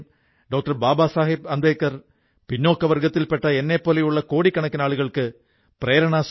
ലോക് ഡൌണിൽ ഇവർ 50 ലക്ഷം രൂപയിലധികം തുകയ്ക്കുള്ള പഴങ്ങളും പച്ചക്കറികളും ആളുകളുടെ അടുത്തെത്തിച്ചു